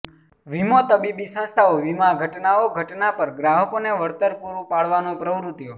વીમો તબીબી સંસ્થાઓ વીમા ઘટનાઓ ઘટના પર ગ્રાહકોને વળતર પુરુ પાડવાનો પ્રવૃત્તિઓ